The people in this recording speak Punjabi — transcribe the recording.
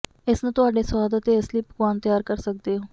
ਇਸ ਨੂੰ ਤੁਹਾਡੇ ਸਵਾਦ ਅਤੇ ਅਸਲੀ ਪਕਵਾਨ ਤਿਆਰ ਕਰ ਸਕਦੇ ਹੋ